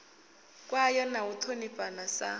kwayo na u ṱhonifhana sa